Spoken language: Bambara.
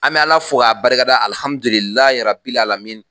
An bɛ ala fo k'a barikada alihamdulilayi rabilialamina